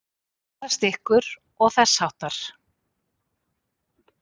Berast ykkur. og þess háttar?